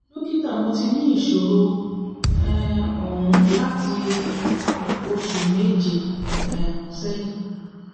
dókítà mo ti ní ìṣòro um ohùn láti oṣù méje um sẹ́yìn